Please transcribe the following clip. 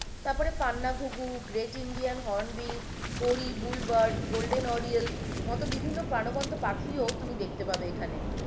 তারপরে পান্না ঘুঘু, গ্রেট ইন্ডিয়ান হর্ন বিল, পড়ি বুল বার্ড, গোল্ডেন ওরিয়েল মতো বিভিন্ন প্রাণবন্ত পাখিও তুমি দেখতে পাবে এখানে